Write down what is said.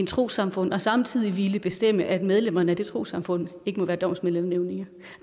trossamfund og samtidig ville bestemme at medlemmerne af det trossamfund ikke må være domsmænd eller nævninge